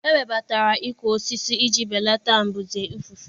E webatara ịkụ osisi iji belata mbuze ifufe